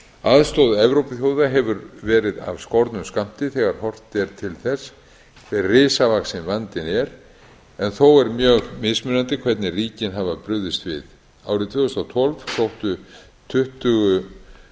aðstoð evrópuþjóða hefur verið af skornum skammti þegar horft er til þess hve risavaxinn vandinn er en þó er mjög mismunandi hvernig ríkin hafa brugðist við árið tvö þúsund og tólf sóttu tuttugu